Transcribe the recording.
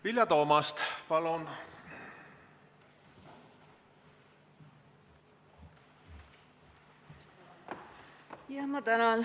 Vilja Toomast, palun!